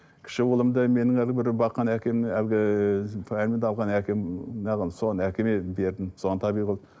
кіші ұлымды менің баққан әкем әлгі әкем соған әкеме бердім